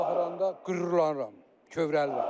Onlara baxanda qürurlanıram, kövrəlirəm.